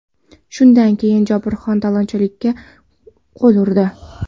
Shundan keyin Jobirxon talonchilikka qo‘l urdi.